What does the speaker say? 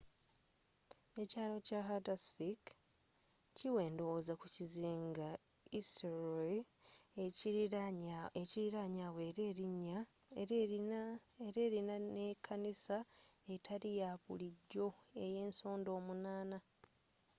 ekyaalo kya haldarsvík kiwa endowooza ku kizinga eysturoy ekiriranye awo era erina ne kanisa etali yabulijjo eyensonda omunana